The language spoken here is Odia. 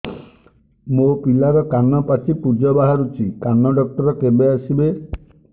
ମୋ ପିଲାର କାନ ପାଚି ପୂଜ ବାହାରୁଚି କାନ ଡକ୍ଟର କେବେ ଆସିବେ